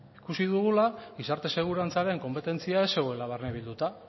ikusi dugula gizarte segurantzaren konpetentzia ez zegoela barne bilduta